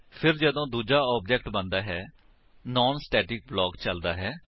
ਫਿਰ ਜਦੋਂ ਦੂਜਾ ਆਬਜੇਕਟ ਬਣਦਾ ਹੈ ਨਾਨ ਸਟੇਟਿਕ ਬਲਾਕ ਚਲਦਾ ਹੈ